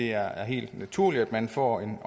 er helt naturligt at man får en